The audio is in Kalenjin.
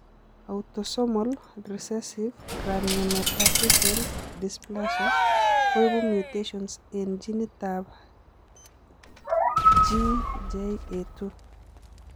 Autosomal recessieve craniometaphyseal dysplasia koibu mutations eng' genit ab GJA2